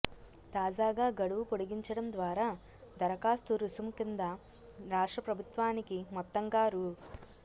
తాజాగా గడువు పొడిగించడం ద్వారా దరఖాస్తు రుసుం కింద రాష్ట్ర ప్రభుత్వానికి మొత్తంగా రూ